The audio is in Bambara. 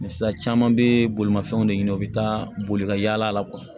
sisan caman be bolimafɛnw de ɲini u be taa boli ka yaala